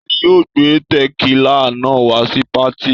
Ta ni yóò gbé tẹ̀kílà náà wá sí patí?